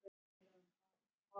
Belinda